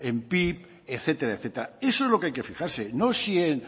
en pib etcétera etcétera eso es lo que hay que fijarse no si en